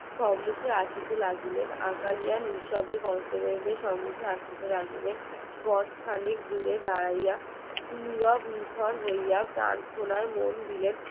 নিস্তব্ধে সম্মুখে আসিতে লাগিলেন গজ খানেক দূরে দাঁড়াইয়া নিরব নিথর হইয়া মন দিলেন তাহার